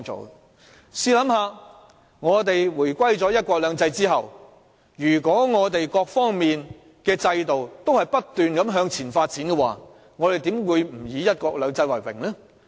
大家試想，如果我們回歸後在"一國兩制"下，各方面的制度均不斷向前發展，我們又怎會不以"一國兩制"為榮呢？